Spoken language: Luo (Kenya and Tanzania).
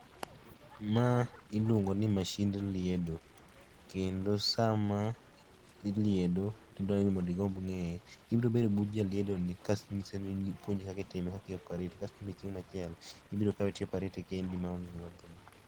Ma iluongo ni masind liedo. Kendo sama itimo liedo, to idwani igomb ing'e ibiro bedo but jaliedo ni, kasto inyise ni opuonji kaka itime kaka i operate kasto in be chieng' machielo, ibiro kawe to i operate kendi ma onge ng'ama konyi.